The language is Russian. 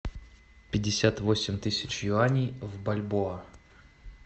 пятьдесят восемь тысяч юаней в бальбоа